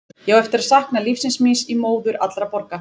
Ég á eftir að sakna lífsins míns í móður allra borga.